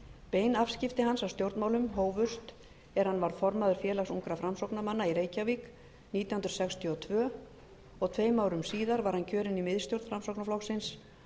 bein afskipti hans af stjórnmálum hófust er hann varð formaður félags ungra framsóknarmanna í reykjavík nítján hundruð sextíu og tvö og tveim árum síðar var hann kjörinn í miðstjórn framsóknarflokksins